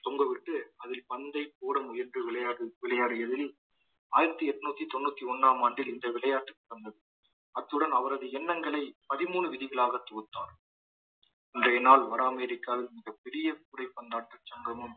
தொங்கவிட்டு அதில் பந்தை போட முயன்று விளையாடு விளையாடியதில் ஆயிரத்தி எட்நூத்தி தொண்ணூத்தி ஒண்ணாம் ஆண்டில் இந்த விளையாட்டுக்கு வந்தது அத்துடன் அவரது எண்ணங்களை பதிமூணு விதிகளாகத் தொகுத்தார் இன்றைய நாள் வட அமரிக்காவில் மிகப்பெரிய கூடை பந்தாட்ட சங்கமம்